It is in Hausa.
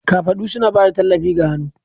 Kafadu suna ba da tallafi ga hannu.